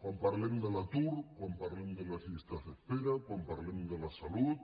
quan parlem de l’atur quan parlem de les llistes d’espera quan parlem de la salut